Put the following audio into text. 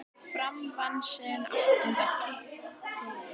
Fram vann sinn áttunda titil.